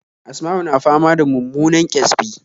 Asma'u na fama da mummunan ƙyasbi